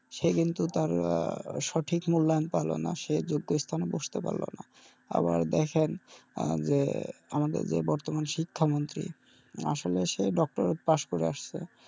সে কিন্তু তার সঠিক মুল্যায়ন পাবে না সে যোগ্য স্থানে বস্তে পারলো না আবার দেখেন আহ আমাদের বর্তমান শিক্ষা মন্ত্রি আসলে সে doctor pass করে আসছে,